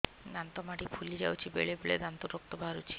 ଦାନ୍ତ ମାଢ଼ି ଫୁଲି ଯାଉଛି ବେଳେବେଳେ ଦାନ୍ତରୁ ରକ୍ତ ବାହାରୁଛି